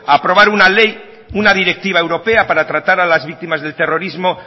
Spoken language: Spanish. a aprobar una ley una directiva europea para tratar a las víctimas del terrorismo